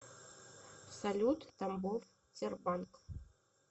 салют тамбов тербанк